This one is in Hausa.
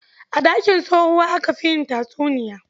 A ɗakin tsohuwa aka fi yin tatsuniya